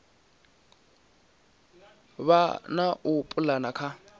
vha na u pulana ha